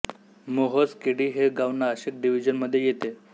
मोहोज केडी हे गाव नाशिक डिव्हीजन मधे येते